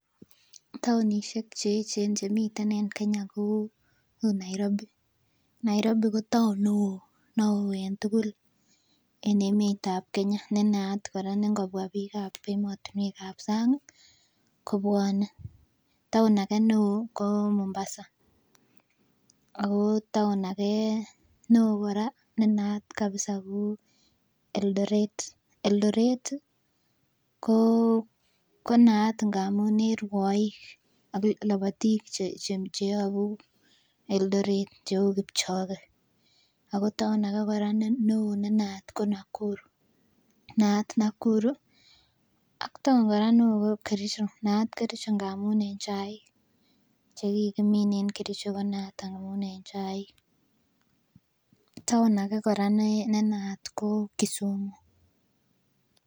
Taonisiek cheechen chemiten en Kenya ko Nairobi, Nairobi ko taon neoo neoo en tugul en emetab Kenya nenaat kora nee ngobwa biik en emotinwek ab sang ih kobwone. Taon age neoo ko Mombasa ago taon age neoo kora nenaat kabisa ko Eldoret, Eldoret ih ko naat amun en rwoik ak lobotik cheyobu Eldoret cheu Kipchoge ako taon age kora neoo nenaat ko Nakuru, naat Nakuru ak taon age neoo ko Kericho naat Kericho amun en chaik chekikimin en Kericho ko naat amun en chaik. Taon age kora nenaat ko Kisumu